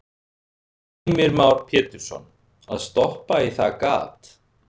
Heimir Már Pétursson: Að stoppa í það gat?